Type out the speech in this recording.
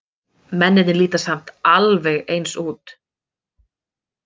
Mennirnir líta samt alveg eins út.